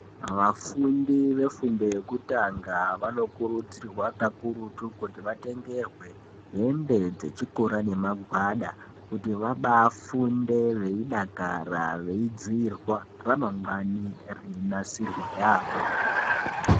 Vafundi vefundo yekutanga vanokurudzirwe kakurutu kuti vatengerwe hembe dzechikora nemagwada kuti vabaafunde veidakara veidziirwa ramagwani reinasirwe yaamho.